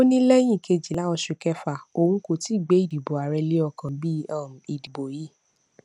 ó ní lẹyìn kejìlá oṣù kẹfà òun kò tíì gbé ìdìbò ààrẹ lé ọkàn bí um ìdìbò yìí